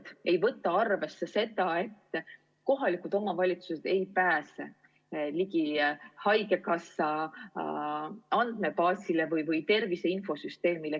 Need ei võta arvesse seda, et kohalikud omavalitsused ei pääse ligi haigekassa andmebaasile ega tervise infosüsteemile.